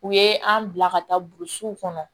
U ye an bila ka taa burusiw kɔnɔ